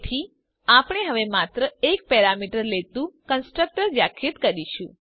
તેથી આપણે હવે માત્ર એક પેરામીટર લેતું કન્સ્ટ્રક્ટર વ્યાખ્યાયિત કરીશું